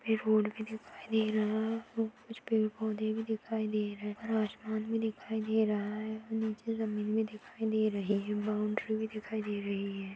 वे road भी दिखाई दे रहा है और कुछ पेड़-पौधे भी दिखाई दे रहे और आसमान भी दिखाई दे रहा है और नीचे जमीन भी दिखाई दे रही है बॉउन्ड्री भी दिखाई दे रही है।